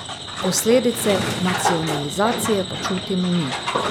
Posledice nacionalizacije pa čutimo mi.